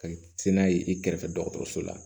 Ka se n'a ye i kɛrɛfɛ dɔgɔtɔrɔso la